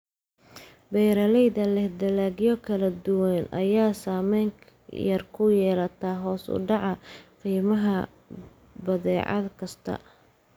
Beeralayda leh dalagyo kala duwan ayay saameyn yar ku yeelataa hoos u dhaca qiimaha badeecad kasta.